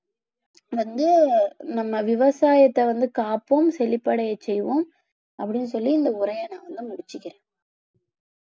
வந்து நம்ம விவசாயத்தை வந்து காப்போம் செழிப்படைய செய்வோம் அப்படின்னு சொல்லி இந்த உரையை நான் வந்து முடிச்சுக்கிறேன்.